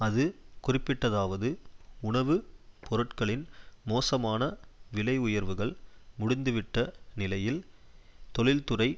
அது குறிப்பிட்டதாவது உணவு பொருட்களின் மோசமான விலை உயர்வுகள் முடிந்துவிட்ட நிலையில் தொழில்துறை